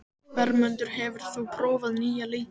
Vermundur, hefur þú prófað nýja leikinn?